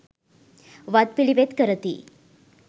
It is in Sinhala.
වත් පිළිවෙත් කරති.